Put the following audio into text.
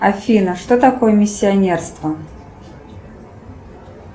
афина что такое миссионерство